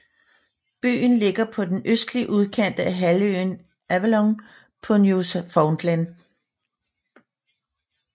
Byen ligger på den østlige udkant af halvøen Avalon på Newfoundland